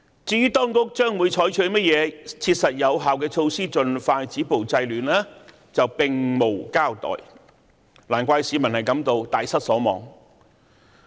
"至於當局將會採取甚麼切實有效的措施盡快止暴制亂，卻並無交代，難怪市民大失所望。